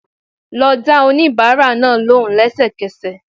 Lọ dá oníbàárà náà lóhùn lẹ́sẹ̀kẹsẹ̀